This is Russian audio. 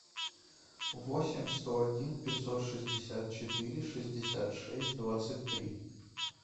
восемь сто один пятьсот шестьдесят четыре шестьдесят шесть двадцать три